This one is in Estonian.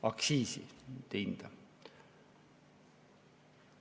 Aktsiisi, mitte hinda.